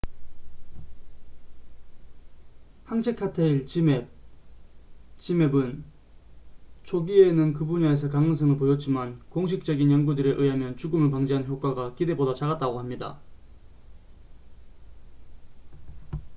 항체 칵테일 지맵zmapp은 초기에는 그 분야에서 가능성을 보였지만 공식적인 연구들에 의하면 죽음을 방지하는 효과가 기대보다 작다고 합니다